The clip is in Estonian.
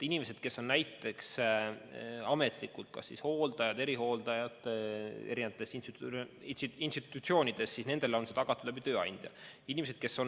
Inimestele, kes on ametlikult kas hooldajad või erihooldajad eri institutsioonides, on vaktsineerimine tagatud tööandja kaudu.